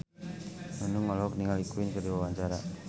Nunung olohok ningali Queen keur diwawancara